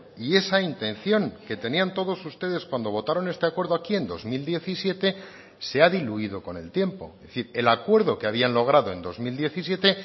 y esa intención que tenían todos ustedes cuando votaron este acuerdo aquí en dos mil diecisiete se ha diluido con el tiempo es decir el acuerdo que habían logrado en dos mil diecisiete